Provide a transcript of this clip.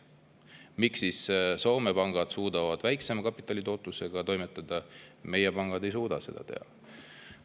Miks siis Soome pangad suudavad väiksema kapitalitootlusega toimetada ja meie pangad ei suuda?